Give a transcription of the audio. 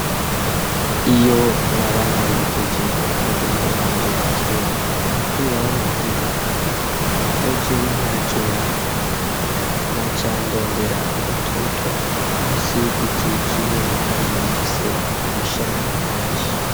Iyo naba naherekeje bagenzi banje gukina umupira w'amaguru kubera jewe ntakina na candondera agatutu musi yigiti kinini kandi gifise amashami menshi.